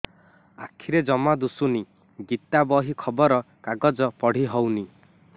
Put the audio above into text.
ଆଖିରେ ଜମା ଦୁଶୁନି ଗୀତା ବହି ଖବର କାଗଜ ପଢି ହଉନି